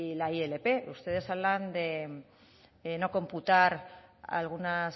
la ilp ustedes hablan de no computar algunas